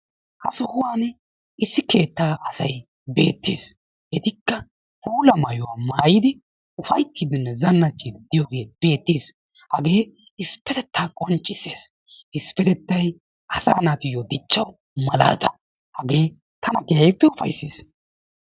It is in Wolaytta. Ha sohuwan issi keettaa asay beettees. Etikka puula mayuwa mayidi ufayittiiddinne zannacciiddi diyogee beettees. Hagee issippetettan qonccisses. Issippetettan asaa naatuyyoo dichchawu malaata. Hagee tana keehippe ufayissees.